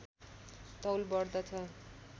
तौल बढ्दछ